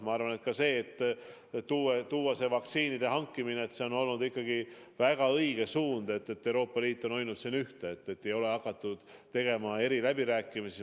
Ma arvan, et ka vaktsiinide hankimise puhul on olnud ikkagi väga õige suund, et Euroopa Liit on hoidnud siin ühte ega ole hakatud tegema eri läbirääkimisi.